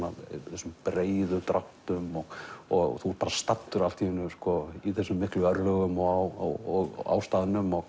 þessum breiðu dráttum og þú ert bara staddur allt í einu í þessum miklu örlögum og á staðnum og